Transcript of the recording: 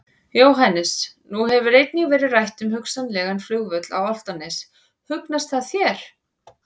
Jóhannes: Nú hefur einnig verið rætt um hugsanlegan flugvöll á Álftanes, hugnast það þér?